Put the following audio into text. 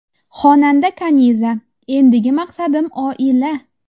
Xonanda Kaniza: Endigi maqsadim oila!.